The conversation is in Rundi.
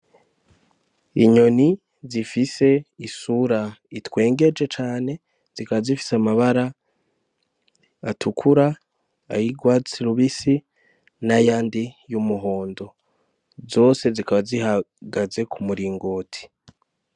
Inyoni zifise isura itwengeje cane, zikaba zifise amabara atukura, ay'urwatsi rubisi n'ayandi y'umuhondo. Zose zikaba zihagaze ku muringoti.